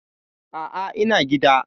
A'a, ina gida.